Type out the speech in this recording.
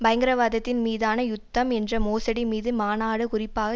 பயங்கரவாதத்தின் மீதான யுத்தம் என்ற மோசடி மீது மாநாடு குறிப்பாக